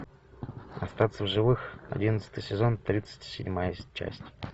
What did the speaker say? остаться в живых одиннадцатый сезон тридцать седьмая часть